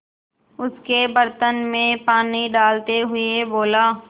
उसके बर्तन में पानी डालते हुए बोला